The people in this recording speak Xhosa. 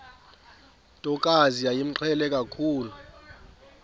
ntokazi yayimqhele kakhulu